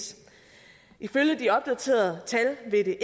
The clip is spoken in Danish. ifølge de opdaterede tal vil det